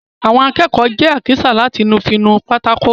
Àwọn akẹ́kọ̀ọ́ jẹ àkísà láti fí nu pátákó.